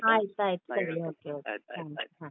ಆಯ್ತಾಯ್ತು ಸರಿ, ಹಾ.